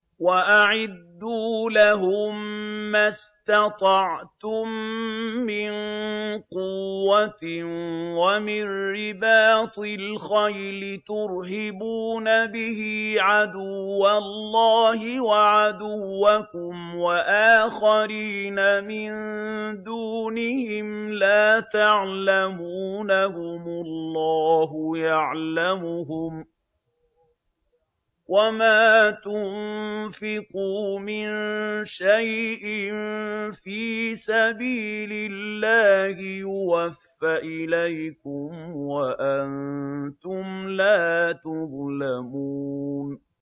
وَأَعِدُّوا لَهُم مَّا اسْتَطَعْتُم مِّن قُوَّةٍ وَمِن رِّبَاطِ الْخَيْلِ تُرْهِبُونَ بِهِ عَدُوَّ اللَّهِ وَعَدُوَّكُمْ وَآخَرِينَ مِن دُونِهِمْ لَا تَعْلَمُونَهُمُ اللَّهُ يَعْلَمُهُمْ ۚ وَمَا تُنفِقُوا مِن شَيْءٍ فِي سَبِيلِ اللَّهِ يُوَفَّ إِلَيْكُمْ وَأَنتُمْ لَا تُظْلَمُونَ